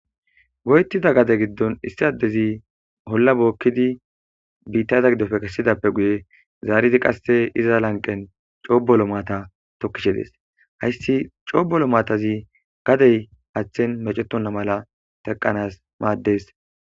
goyttida gade giddon issi addezi holla bookkidi biittaza giddofe kessidappe guye zaarizi qasse iza lanqen coobolo maata tokkishe dees hayssi coobolo maatazi gadey aththen mecetonna mala teqanas maaddees